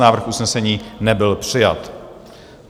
Návrh usnesení nebyl přijat.